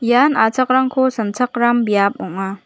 ian achakrangni sanchakram biap ong·a.